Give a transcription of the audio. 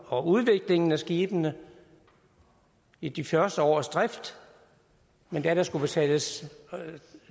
og udviklingen af skibene i de første års drift men da der skulle betales